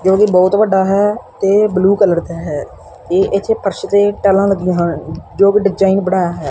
ਕਿਉਂਕਿ ਬਹੁਤ ਵੱਡਾ ਹੈ ਤੇ ਬਲੂ ਕਲਰ ਦਾ ਹੈ ਇਥੇ ਫਰਸ਼ ਤੇ ਟਾਈਲਾਂ ਲੱਗੀਆਂ ਹਨ ਜੋ ਵੀ ਡਿਜਾਇਨ ਬਣਾਇਆ ਹੈ।